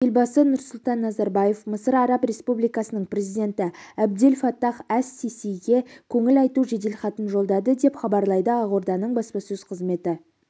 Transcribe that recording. елбасы нұрсұлтан назарбаев мысыр араб республикасының президенті әбдел фаттах әс-сисиге көңіл айту жеделхатын жолдады деп хабарлайды ақорданың баспасөз қызметі